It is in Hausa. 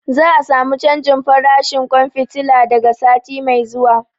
Za a samu canjin farashin ƙwan fitila daga sati mai zuwa.